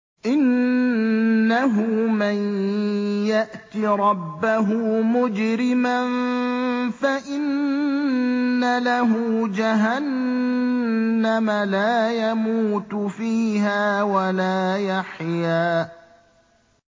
إِنَّهُ مَن يَأْتِ رَبَّهُ مُجْرِمًا فَإِنَّ لَهُ جَهَنَّمَ لَا يَمُوتُ فِيهَا وَلَا يَحْيَىٰ